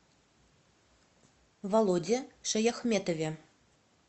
володе шаяхметове